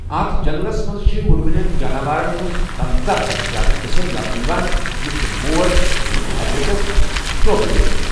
اَتھ جنٛگلس منٛز چھِ وٕڑوٕنٮ۪ن جاناوارن ہٕنٛز پنژاہ کھۄتہٕ زِیٛادٕ قٕسٕم لَبنہٕ یِوان یِتھ کٔنۍ مور، لِٹل ایگریٹس، شوگہٕ بیترِ۔